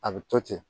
A bɛ to ten